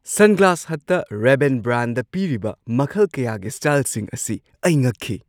Sunglass ꯍꯠꯇ Ray-Ban brand ꯄꯤꯔꯤꯕ ꯃꯈꯜ ꯀꯌꯥꯒꯤ ꯁ꯭ꯇꯥꯏꯜꯁꯤꯡ ꯑꯁꯤ ꯑꯩ ꯉꯛꯈꯤ ꯫